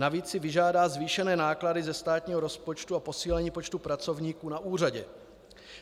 Navíc si vyžádá zvýšené náklady ze státního rozpočtu a posílení počtu pracovníků na úřadě.